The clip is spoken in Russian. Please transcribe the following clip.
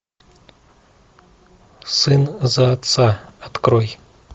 сын за отца открой